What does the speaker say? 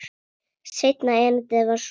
Seinna erindið var svona: